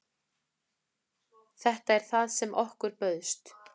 Þetta er það sem okkur bauðst